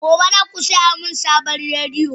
Gobe, za ku saya mini sabon rediyo!